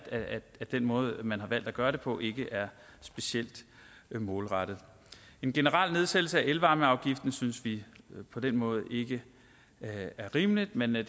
den måde man har valgt at gøre det på ikke er specielt målrettet en generel nedsættelse af elvarmeafgiften synes vi på den måde ikke er rimelig men det